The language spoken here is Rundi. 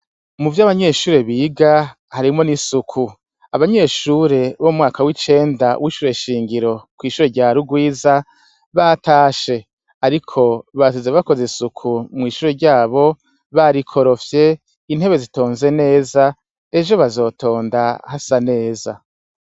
Mu vyo abanyeshure biga harimwo n'isuku abanyeshure bo mwaka w'icenda wishure shingiro kw'ishure rya rurwiza batashe, ariko basize bakoze isuku mw'ishure ryabo barikorofye intebe zitonze neza ejo bazotonda hasa neza.